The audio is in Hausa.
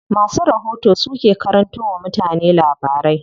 Masu rahoto su ke karanto wa mutane labarai.